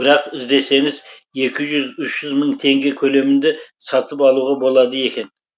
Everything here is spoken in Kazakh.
бірақ іздесеңіз екі жүз үш жүз мың теңге көлемінде сатып алуға болады екен